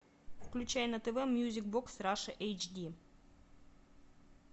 включай на тв мьюзик бокс раша эйч ди